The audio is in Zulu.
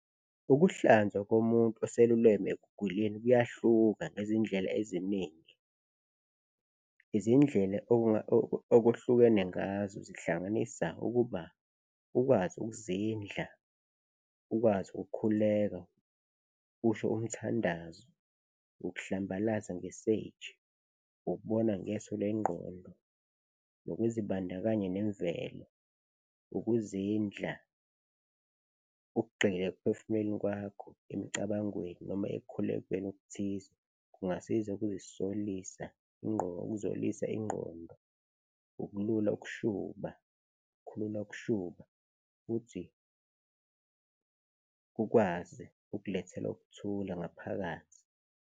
Ukuhlanzwa komuntu oseluleme ekuguleni kuyahluka ngezindlela eziningi. Izindlela okuhlukene ngazo zihlanganisa ukuba ukwazi ukuzindla, ukwazi ukukhuleka usho umthandazo, ukuhlambalaza nge-sage, ukubona ngeso lengqondo nokuzibandakanya nemvelo, ukuzindla, ukugxila ekuphefumuleni kwakho, emicabangweni noma ekukhulekeni okuthize, kungasiza ukuzolisa ingqondo, ukulula ukushuba, khulula ukushuba futhi kukwazi ukulethela ukuthula ngaphakathi.